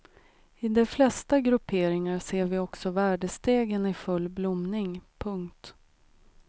I de flesta grupperingar ser vi också värdestegen i full blomning. punkt